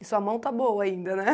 E sua mão está boa ainda, né?